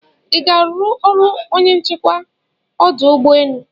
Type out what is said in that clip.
iga aru ọrụ onye nchekwa ọdụ ụgbọ enu?